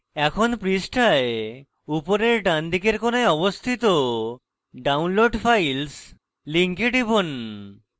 এখন পৃষ্ঠায় উপরের ডান দিকের কোণায় অবস্থিত download files link টিপুন